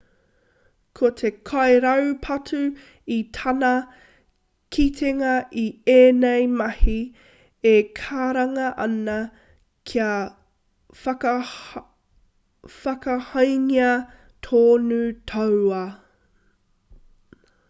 ko te kairaupatu i tāna kitenga i ēnei mahi e karanga ana kia whakakahangia tōna tauā